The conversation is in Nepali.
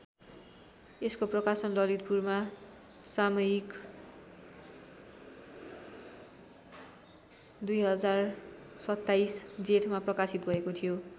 यसको प्रकाशन ललितपुरमा सामयिक २०२७ जेठमा प्रकाशित भएको थियो।